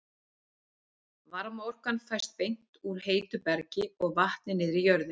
Varmaorkan fæst beint úr heitu bergi og vatni niðri í jörðinni.